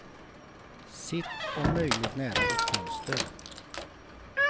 Sitt om möjligt nära ett fönster.